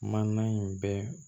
Manan in bɛ